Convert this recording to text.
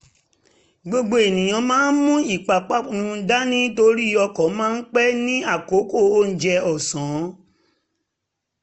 gbogbo ènìyàn ń mú ìpápánu dání torí ọkọ̀ máa ń pé ní àkókò onjẹ ọ̀sán